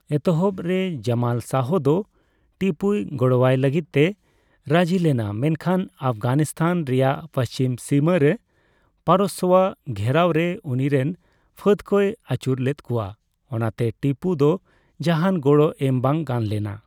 ᱮᱛᱚᱦᱚᱯ ᱨᱮ, ᱡᱟᱢᱟᱞ ᱥᱟᱦ ᱫᱚ ᱴᱤᱯᱩᱭ ᱜᱚᱲᱚᱣᱟᱭ ᱞᱟᱹᱜᱤᱛᱮ ᱨᱟᱹᱡᱤᱞᱮᱱᱟ, ᱢᱮᱱᱠᱷᱟᱱ ᱟᱯᱷᱜᱟᱱᱤᱥᱛᱟᱱ ᱨᱮᱭᱟᱜ ᱯᱟᱹᱪᱷᱤᱢ ᱥᱤᱢᱟᱹ ᱨᱮ ᱯᱟᱨᱚᱥᱥᱚᱣᱟᱜ ᱜᱷᱮᱨᱟᱣᱨᱮ ᱩᱱᱤᱨᱮᱱ ᱯᱷᱟᱹᱫ ᱠᱚᱭ ᱟᱹᱪᱩᱨ ᱞᱮᱫᱠᱩᱣᱟ, ᱚᱱᱟᱛᱮ ᱴᱤᱯᱩ ᱫᱚ ᱡᱟᱦᱟᱱ ᱜᱚᱲᱚ ᱮᱢ ᱵᱟᱝ ᱜᱟᱱ ᱞᱮᱱᱟ ᱾